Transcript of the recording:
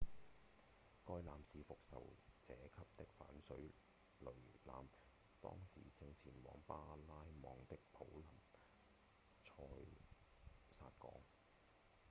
該艦是復仇者級的反水雷艦當時正前往巴拉望的普林塞薩港